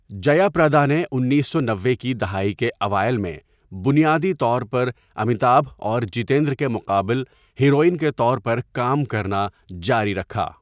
جیا پردا نے انیّس سو نوّے کی دہائی کے اوائل میں بنیادی طور پر امیتابھ اور جیتندر کے مقابل ہیروئن کے طور پر کام کرنا جاری رکھا.